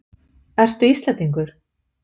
Ertu Íslendingur?